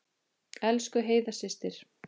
Elsku Heiða systir.